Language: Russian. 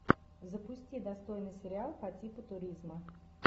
запусти достойный сериал по типу туризма